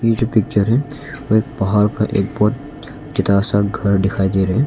ये जो पिक्चर है वो एक पहाड़ का एक बहुत ज्यादा सा घर दिखाई दे रहे--